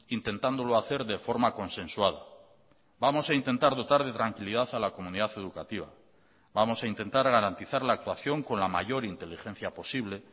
intentándolo hacer de forma consensuada vamos a intentar dotar de tranquilidad a la comunidad educativa vamos a intentar garantizar la actuación con la mayor inteligencia posible